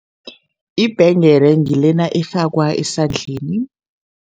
Ibhengele ngilena efakwa esandleni.